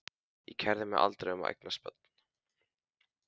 Ég kærði mig aldrei um að eignast börn.